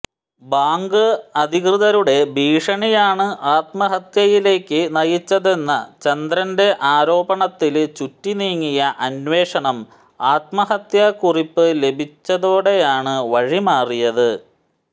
bank അധികൃതരുടെ ഭീഷണിയാണ് ആത്മഹത്യയിലേക്ക് നയിച്ചതെന്ന ചന്ദ്രന്റെ ആരോപണത്തില് ചുറ്റി നീങ്ങിയ അന്വേഷണം ആത്മഹത്യാക്കുറിപ്പ് ലഭിച്ചതോടെയാണു വഴിമാറിയത്